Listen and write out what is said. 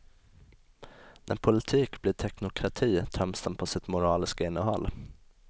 När politik blir teknokrati töms den på sitt moraliska innehåll.